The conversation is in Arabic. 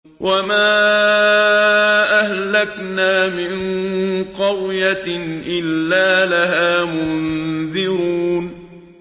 وَمَا أَهْلَكْنَا مِن قَرْيَةٍ إِلَّا لَهَا مُنذِرُونَ